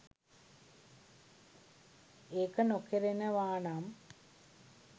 ඒක නොකරනවානම්